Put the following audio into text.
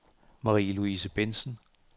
Marie-Louise Bentzen